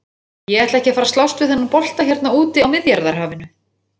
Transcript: Ég ætla ekki að fara að slást við þennan bolta hérna úti á Miðjarðarhafinu!